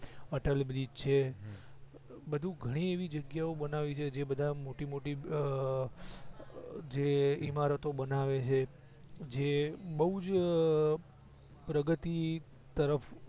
Atal bridge છે બધી ઘણી એવી જગ્યા બનાવી છે જે બધા મોટી મોટી અ જે ઇમારતો બનાવે છે જે બ્વજ પ્રગતિ તરફ